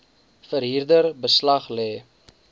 verhuurder beslag lê